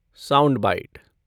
sound bite